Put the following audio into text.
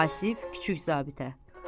Vasif kiçik zabitə.